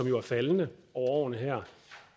jo er faldende over årene her